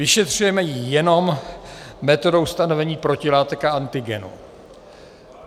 Vyšetřujeme ji jenom metodou stanovení protilátek a antigenů.